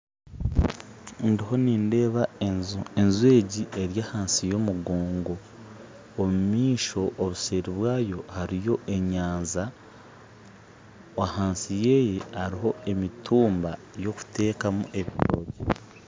Ndiho nindeeba enju, enju egi eri ahansi y'omugongo omumaisho obuseeri bwayo hariyo enyanja ahansi yayo hariho emitumba yokutekamu ebitokye.